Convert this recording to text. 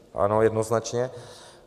Ano, jednoznačně.